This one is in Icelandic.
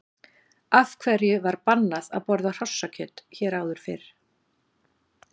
Af hverju var bannað að borða hrossakjöt hér áður fyrr?